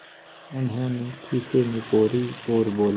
उन्होंने खीसें निपोरीं और बोले